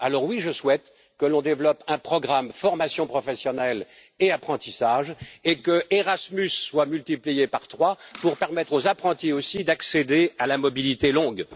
Alors, oui, je souhaite que l'on développe un programme pour la formation professionnelle et l'apprentissage et qu'Erasmus soit multiplié par trois pour permettre aux apprentis aussi d'accéder à la mobilité longue.